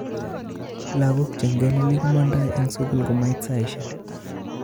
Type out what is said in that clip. Lagok che ngelelik komondoo en sugul komait saishek